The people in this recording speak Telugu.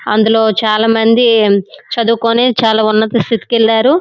అందులో చాలా మంది చదువుకొని చాలా ఉన్నత స్తితికెళ్లారు.